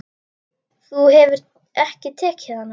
Þú hefur ekki tekið hana?